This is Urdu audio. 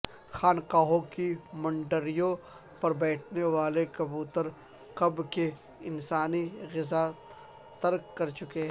خانقاہوں کی منڈیروں پربیٹھنے والے کبوتر کب کے انسانی غذا ترک کرچکے